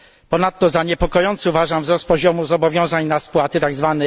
Ponadto za niepokojący uważam wzrost poziomu zobowiązań na spłaty, tzw.